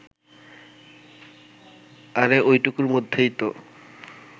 আরে ওইটুকুর মধ্যেই তো